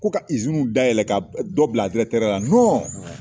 Ko ka izinu dayɛlɛɛlɛn ko ka dɔ bila a dirɛtɛriya la nɔn